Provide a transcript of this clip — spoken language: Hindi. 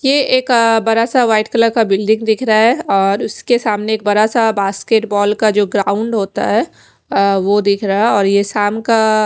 ये एक अह बड़ा सा व्हाइट कलर का बिल्डिंग दिख रहा है और उसके सामने एक बड़ा सा बास्केटबॉल का जो ग्राउंड होता है अह वो दिख रहा है और ये शाम का --